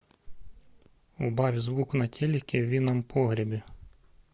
убавь звук на телике в винном погребе